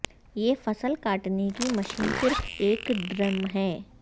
یہ فسل کاٹنے کی مشین صرف ایک ڈرم ہے